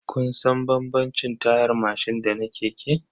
Kun san bambamcin tayar mashin da na keke?